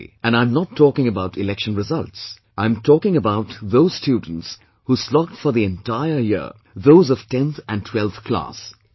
and I am not talking about election results... I am talking about those students who slogged for the entire year, those of 10th and 12th Class